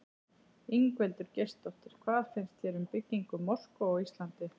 Ingveldur Geirsdóttir: Hvað finnst þér um byggingu mosku á Íslandi?